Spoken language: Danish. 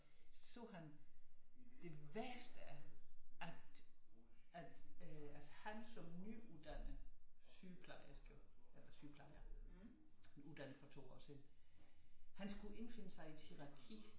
Så sagde han det værste at øh altså han som nyuddannet sygeplejerske eller sygeplejer uddannet for 2 år siden han skulle indfinde sig i et hierarki